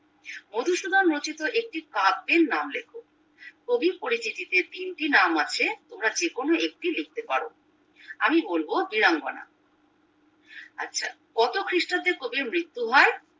মধুসূধন রচিত একটি কাব্যের নাম লেখো কবির পরিচিতিতে তিনটি নাম আছে তোমরা যেকোনো একটি লিখতে পারো আমি বলবো বীরাঙ্গনা আচ্ছা কত খ্রিষ্টাব্দে কবির মৃত্যু হয়